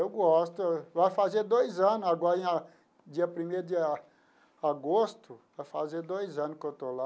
Eu gosto, vai fazer dois anos agora em a, dia primeiro de a agosto, vai fazer dois anos que eu estou lá.